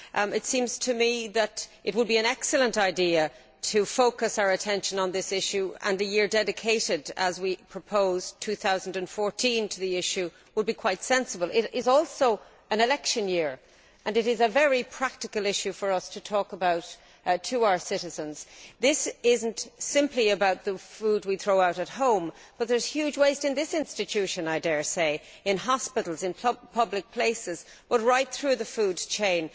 It seems to me that it would be an excellent idea to focus our attention on this issue and the year dedicated to it we proposed 2014. This would be quite sensible. It is also an election year and it is a very practical issue that we can talk about with our citizens. This is not simply about the food we throw out at home there is huge waste in this institution, I dare say, in hospitals, in public places and right through the food chain.